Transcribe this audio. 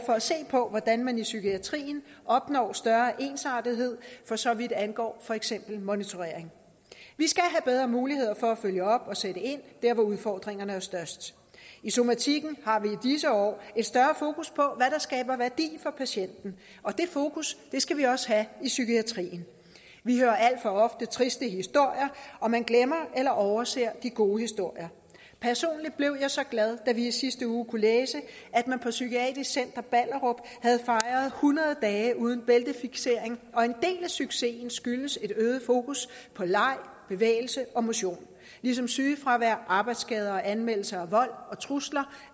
for at se på hvordan man i psykiatrien opnår større ensartethed for så vidt angår for eksempel monitorering vi skal have bedre muligheder for at følge op og sætte ind dér hvor udfordringerne er størst i somatikken har vi i disse år et større fokus på der skaber værdi for patienten og det fokus skal vi også have i psykiatrien vi hører alt for ofte triste historier og man glemmer eller overser de gode historier personligt blev jeg så glad da vi i sidste uge kunne læse at man på psykiatrisk center ballerup havde fejret hundrede dage uden bæltefiksering og en del af succesen skyldes et øget fokus på leg bevægelse og motion ligesom sygefravær arbejdsskader og anmeldelser af vold og trusler